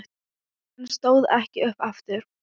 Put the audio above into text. En stóð ekki upp aftur.